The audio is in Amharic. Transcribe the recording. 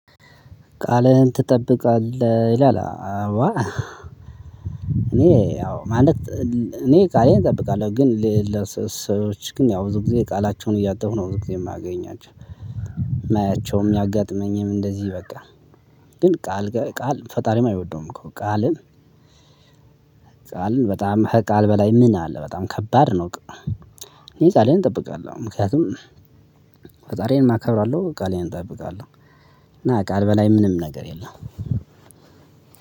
ቃልህን ትጠብቃለህ ይላል? አዎ አኔ አው ማለት እኔ ቃሌን እጠብቃለሁ። ግን ለሌላ ሰዎች ግን የው ብዙ ጊዜ ቃላቸውን እያጠፉ ነው ብዙ ጊዜ ማገኛቸው። ማያቸውም ያጋጠመኝም እንደዚህ በቃ ግን ቃል ፈጣሪም አይወደውም። እኮ ቃልን ቃል በጣም ከቃል በላይ ምን አለ በጣም ከባድ ነው። እኔ ቃሌን እጠብቃለሁ ምክንያቱም ፈጣሪዬን እከብራለሁ ቃሌን እጠብቃለሁ። እና ቃል በላይ ምንም ነገር የለም።